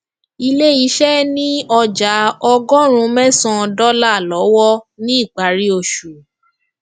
ilé iṣẹ ni ọjà ọgọrùn mẹsan dọlà lọwọ ni ìpárí oṣù